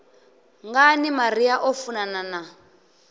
ngani maria o funana na